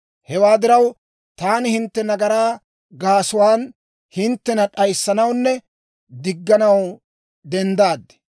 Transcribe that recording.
«Hewaa diraw, taani hintte nagaraa gaasuwaan hinttena d'ayissanawunne digganaw denddaad.